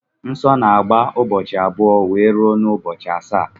Nsó na-agba ụbọchị abụọ wee rue n'ubochi asaá.